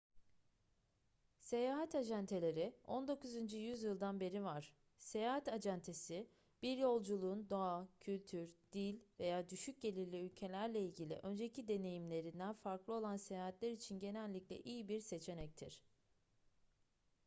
seyahat acenteleri 19. yüzyıldan beri var seyahat acentesi bir yolcunun doğa kültür dil veya düşük gelirli ülkelerle ilgili önceki deneyimlerinden farklı olan seyahatler için genellikle iyi bir seçenektir